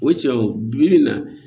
O cɛw bi na